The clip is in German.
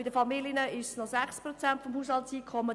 Bei den Familien sind es noch 6 Prozent;